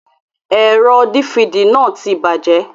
Ẹ̀rọ dífidì náà ti bàjẹ́.